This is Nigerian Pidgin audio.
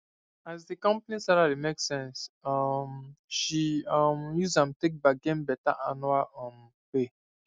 as the company salary make sense um she um use am take bargain better annual um pay